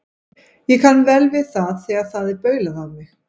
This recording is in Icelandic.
Ég kann vel við það þegar það er baulað á mig.